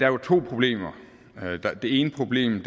jo to problemer det ene problem